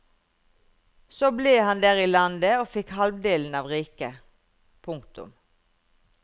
Så ble han der i landet og fikk halvdelen av riket. punktum